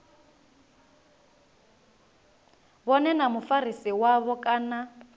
vhone na mufarisi wavho kana